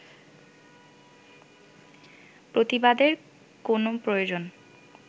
প্রতিবাদের কোন প্রয়োজন